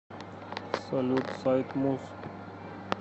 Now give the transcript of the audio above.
салют сайт муз